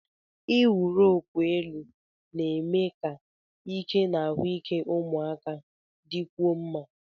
Ịwụ roopu elu na-eme ka ike na ahụike ụmụaka dịkwuo mma.